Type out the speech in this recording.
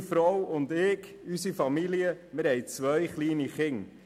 Meine Frau und ich, unsere Familie, wir haben zwei kleine Kinder.